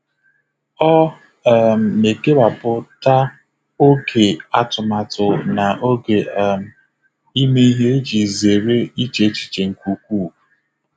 Ọ um na-ekewapụ oge atụmatụ na oge um ime ihe iji zere iche echiche nke ukwuu.